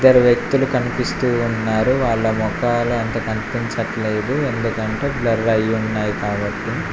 ఇద్దరు వ్యక్తులు కనిపిస్తూ ఉన్నారు వాళ్ల మొకాలు అంత కనిపించట్లేదు ఎందుకంటే బ్లర్ అయ్యి ఉన్నాయి కాబట్టి.